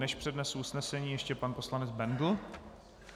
Než přednesu usnesení, ještě pan poslanec Bendl.